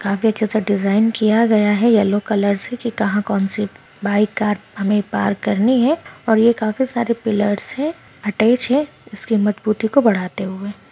काफी अच्छा सा डिज़ाइन किया गया है येल्लो कलर से की कहा कौन-सी बाइक कार हमे पार्क करनी है और ये काफी सारे पिलर्स है अटैच है इसके मजबूती को बढ़ते हुए।